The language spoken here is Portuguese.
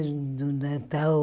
Era do Natal.